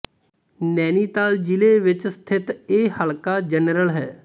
ਨੈਨੀਤਾਲ ਜ਼ਿਲੇ ਵਿੱਚ ਸਥਿਤ ਇਹ ਹਲਕਾ ਜਨਰਲ ਹੈ